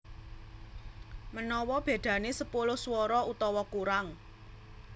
Manawa bedané sepuluh swara utawa kurang